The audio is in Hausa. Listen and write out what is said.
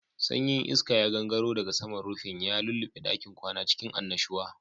Sanyin iska ya gangaro daga saman rufin, ya lulluɓe ɗakin kwana cikin annashuwa.